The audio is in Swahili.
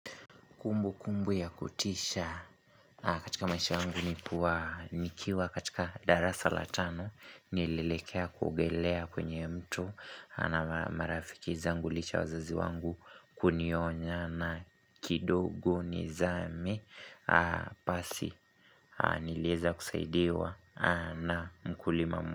Kumbu kumbu ya kutisha katika maisha wangu nikuwa nikiwa katika darasa latano nilelekea kuogelea kwenye mtu na mara marafiki zangulicha ya wazazi wangu kunionya na kidogo nizame pasi nilieza kusaidiwa na mkuli mamu.